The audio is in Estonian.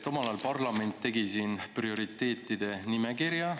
Omal ajal tegi parlament siin prioriteetide nimekirja.